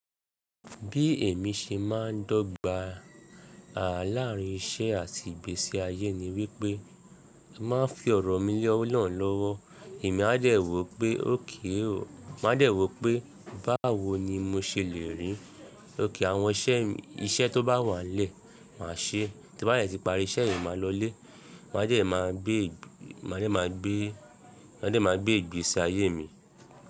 Bí èmi ṣe máa ń dọ́gba lààárín iṣẹ́ àti ìgbésí ayé ni wípé mo máa ń fi ọ̀rọ̀ mi lẹ́ Olorun lọ́wọ́. Èmi a dẹ̀ wó pé OK o, máa dẹ̀ wó pé báwo ni mo ṣe lè rí. OK àwọn iṣẹ́ tó bá wà n lẹ́, màá ṣe. Tí n bá dẹ ti pari iṣẹ́ yen, màá lọ lé. Màá dẹ̀ máa gbé, màá dẹ̀ máa gbé, màá dẹ̀ máa gbé ìgbésí ayé mi.